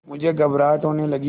मुझे घबराहट होने लगी